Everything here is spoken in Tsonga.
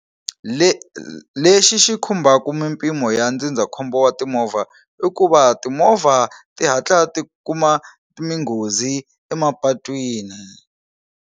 Le lexi xi khumbaku mimpimo ya ndzindzakhombo wa timovha i ku va timovha ti hatla ti kuma minghozi emapatwini.